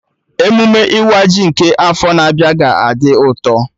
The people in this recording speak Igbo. Emụme ịwa ji nke afọ na-abịa ga-adị ụtọ